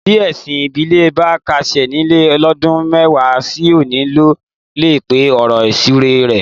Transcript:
Bí ẹ̀sìn ìbílẹ̀ bá kásẹ̀ nílẹ̀ lọ́dún mẹ́wàá sí òní ló lè pá ọ̀rọ̀ ìsúre rẹ́.